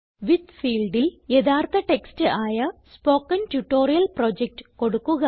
വിത്ത് ഫീൽഡിൽ യഥാർത്ഥ ടെക്സ്റ്റ് ആയ സ്പോക്കൻ ട്യൂട്ടോറിയൽ പ്രൊജക്ട് കൊടുക്കുക